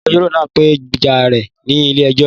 Agbẹjọ́rò náà gbèjà rè ní ilé ẹjọ